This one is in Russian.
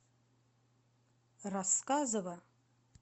рассказово